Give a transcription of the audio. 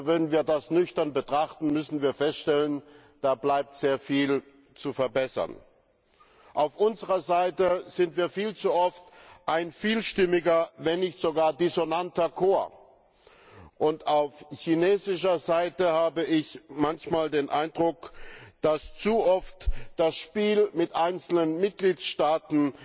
Wenn wir das nüchtern betrachten, müssen wir feststellen, da bleibt sehr viel zu verbessern. Auf unserer Seite sind wir viel zu oft ein vielstimmiger, wenn nicht sogar dissonanter Chor. Und auf chinesischer Seite habe ich manchmal den Eindruck, dass zu oft das Spiel mit einzelnen Mitgliedstaaten